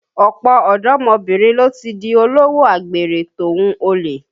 Ọ̀pọ̀ ọ̀dọ́mọbìnrin ló ti di olówò àgbèrè tòhun olè